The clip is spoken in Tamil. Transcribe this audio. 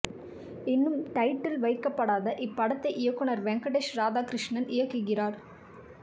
இன்னும் டைட்டில் வைக்கப்படாத இப்படத்தை இயக்குனர் வெங்கடேஷ் ராதாகிருஷ்ணன் இயக்குகிறார்